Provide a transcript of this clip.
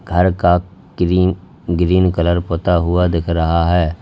घर का green green colour पुता हुआ दिख रहा है।